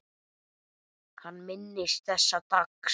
Hann minnist þessa dags.